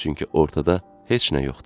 Çünki ortada heç nə yoxdur.